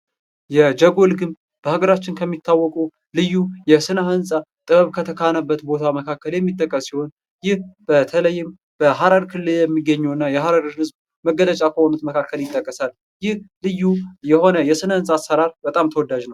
የጀጎል ግንብ በሀገራችን ከሚታወቁ ልዩ የስነ ህንፃ ጥበብ ከተካነበት ቦታ መካከል የሚጠቀስ ሲሆን ይህ በተለይም በሀረር ክልል የሚገኝ የሆነ የሐረር ህዝብ መገለጫ ከሆኑት መካከል ይጠቀሳል። ይህ ልዩ የሆነ የስነ ህንፃ አሰራር በጣም ተወዳጅ ነው።